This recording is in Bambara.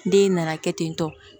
Den nana kɛ ten tɔ